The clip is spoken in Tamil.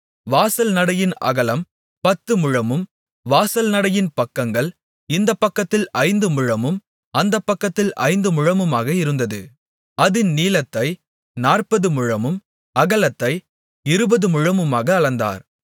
வாசல் நடையின் அகலம் பத்து முழமும் வாசல் நடையின் பக்கங்கள் இந்தப்பக்கத்தில் ஐந்து முழமும் அந்தப்பக்கத்தில் ஐந்து முழமுமாக இருந்தது அதின் நீளத்தை நாற்பது முழமும் அகலத்தை இருபது முழமுமாக அளந்தார்